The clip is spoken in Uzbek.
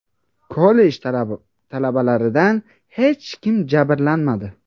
Kollej talabalaridan hech kim jabrlanmadi.